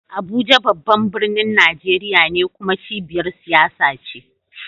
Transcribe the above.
Abuja babban birnin Najeriya ne kuma cibiyar siyasa ce.